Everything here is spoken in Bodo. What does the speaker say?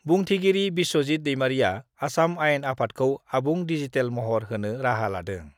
बुंथिगिरि बिस्वजित दैमारीआ आसाम आयेन आफादखौ आबुं डिजिटेल महर होनो राहा लादों